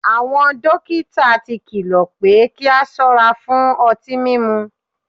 Awọn dokita ti kilọ pe ki a sọra fun ọti mimu